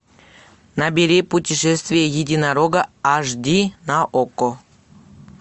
набери путешествие единорога аш ди на окко